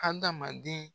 Adamaden